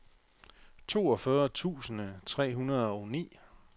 toogfyrre tusind tre hundrede og ni